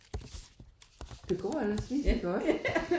Det går ellers lige så godt